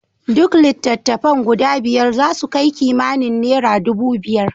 Duk litattafan guda biyar zasu kai kimanin nera dubu biyar.